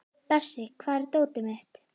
Bersi, hvar er dótið mitt?